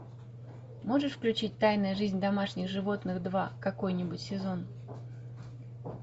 можешь включить тайная жизнь домашних животных два какой нибудь сезон